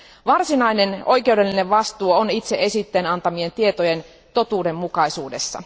Varsinainen oikeudellinen vastuu on itse esitteen antamien tietojen totuudenmukaisuudessa.